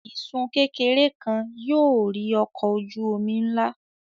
Isun kekere kan yóò rì ọkọ oju omi nla.